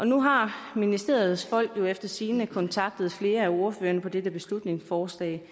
nu har ministeriets folk jo efter sigende kontaktet flere af ordførerne på dette beslutningsforslag